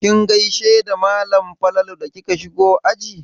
Kin gaishe da malam Falalu da kika shigo aji?